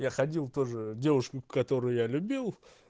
я ходил тоже девушку которую я любил